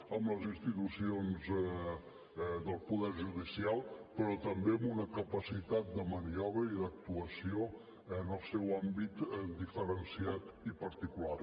amb les institucions del poder judicial però també amb una capacitat de maniobra i d’actuació en el seu àmbit diferenciat i particular